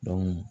Dɔnku